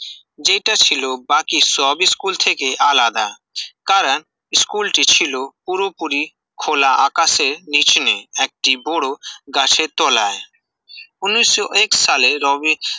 যেটা ছিল বাকি সব স্কুল থেকে আলাদা কারণ, স্কুলটি ছিল পুরোপুরি খোলা আকাশের কিচেনে, একটি বড় গাছের তলায়, উনিশশো এক সালে রবী